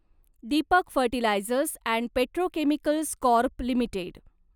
Deepak fertilisers and petrochemicals corp limited